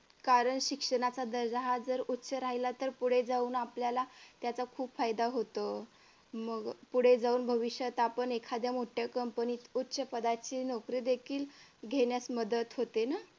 कारण शिक्षणाचा दर्जा हा जर उच्च राहिला तर पुढे जाऊन आपल्याला त्याचा खूप फायदा होतो मग पुढे जाऊन भविष्यात आपण एखाद्या मोठ्या कंपनीत उच्च पदावर ची नोकरी देखील येण्यास मदत होते ना